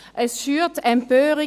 Es schürt Empörung.